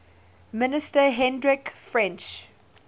minister hendrik frensch